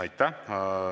Aitäh!